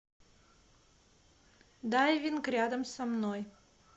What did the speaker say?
дайвинг рядом со мной